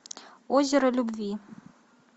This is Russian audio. озеро любви